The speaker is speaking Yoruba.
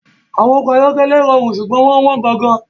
Awon oko ayokele rorun sugbon won won gogo